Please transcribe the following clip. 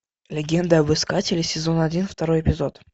легенда об искателе сезон один второй эпизод